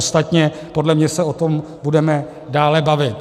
Ostatně podle mě se o tom budeme dále bavit.